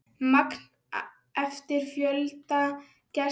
Magn eftir fjölda gesta.